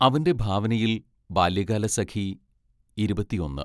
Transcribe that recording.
അവന്റെ ഭാവനയിൽ ബാല്യകാലസഖി ഇരുപത്തിയൊന്ന്